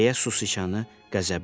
Deyə sicanı qəzəbləndi.